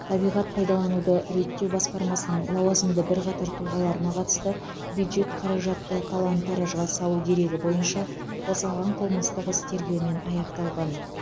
табиғат пайдалануды реттеу басқармасының лауазымды бірқатар тұлғаларына қатысты бюджет қаражатты талан таражға салу дерегі бойынша қозғаған қылмыстық іс тергеумен аяқталған